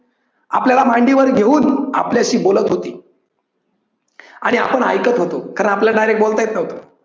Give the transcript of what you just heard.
आपल्याला मांडीवर घेऊन आपल्याशी बोलत होती आणि आपण ऐकत होतो, कारण आपल्याला direct बोलता येत नव्हतं.